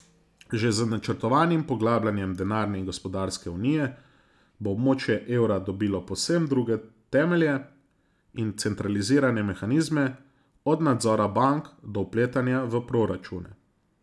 Že z načrtovanim poglabljanjem denarne in gospodarske unije bo območje evra dobilo povsem druge temelje in centralizirane mehanizme, od nadzora bank do vpletanja v proračune.